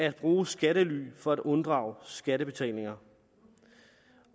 at bruge skattely for at undgå skattebetaling og